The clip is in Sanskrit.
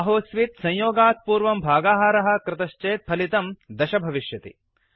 आहोस्वित् संयोगात् पूर्वं भागाहारः कृतश्चेत् फलितं 10 भविष्यति